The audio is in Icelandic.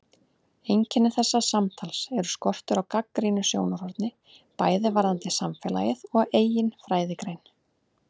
Einkenni þessa samtals er skortur á gagnrýnu sjónarhorni bæði varðandi samfélagið og eigin fræðigrein.